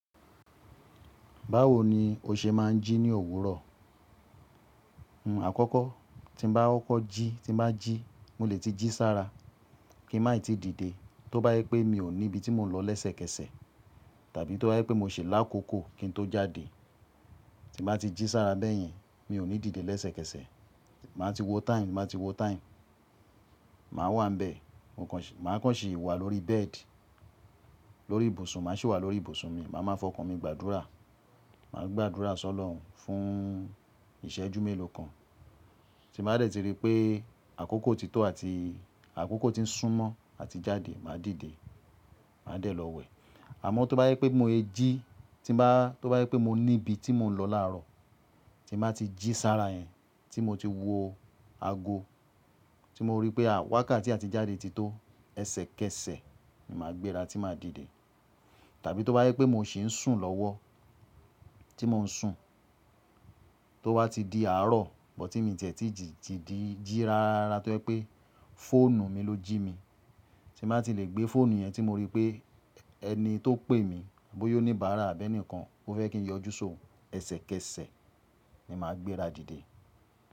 Báwo ni o ṣe máa ń jí ní òwúrọ̀? Àkọ́kọ́ tí ń bá kọ́kọ́ jí, tí n bá jí, mo lè ti jí sára kí n máì ti dìde. Tó bá jẹ́ pé mi ò ní ibi tí mò ń lọ lẹ́sẹ̀kẹsẹ̀, tàbí tó bá jẹ́ pé mo ṣì lákòókò kí n tó jáde. Tí bá ti jí sára bẹ́yẹn, mi ò ní dìde lẹ́sẹ̀kẹsẹ̀. Máa ti wo time, ti n bá ti wo time. Màá wà níbẹ̀. Máa kàn ṣì wà lórí bed, lórí ibùsùn, màá sì wà lórí ibùsùn mi. Màá máa fọkàn mi, gbàdúrà. Màá gbàdúrà sọ́lọrun fún ìṣẹ́jú mélòó kan. Tí n bá dẹ̀ ti rí i pé àkókò ti tó àti àkókò ti ń súnmọ́ àti jáde, màá dìde. Màá dẹ̀ lọ wẹ̀. Àmọ́ tó bá jẹ́ pé bí mo se jí, tí n bá tó bá jẹ́ pé mo ní ibi tí mò ń lọ láàárọ̀, tí n bá ti jí sára yẹn, tí mo ti wo ago, tí mo rí i pé à wákà àti jáde ti tó ẹsẹ̀kẹsẹ̀, ni màá gbéra tí màá dìde. Tàbí tó bá jẹ́ pé mo ṣì ń sùn lọ́wọ́, tí mò ń sùn tó bá ti di àárọ̀, but tí mi ì ti ẹ̀ tí jí rárá rárá tó jẹ́ pé fóònù mi ló jí mi. Tí n bá ti lè gbé fóònù yẹn tí mo rí i pé ẹni tó pè mí, bòyá oníbààrà àbí ẹnìkan, ó fẹ́ kí n yọjú sí òhún ẹsẹ̀kẹsẹ̀ ni màá gbéra dìde.